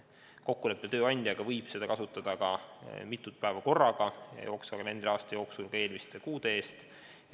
Kokkuleppel tööandjaga võib kasutada ka mitut päeva korraga, jooksval kalendriaastal eelmiste kuude eest.